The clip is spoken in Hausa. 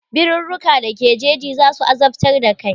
Birurruka da ke jeji za su azabtar da kai.